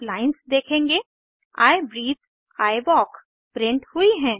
आप लाइन्स देखेंगे160 I breathe I walk print हुई हैं